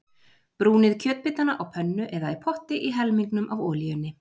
Brúnið kjötbitana á pönnu eða í potti í helmingnum af olíunni.